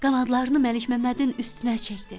Qanadlarını Məlik Məmmədin üstünə çəkdi.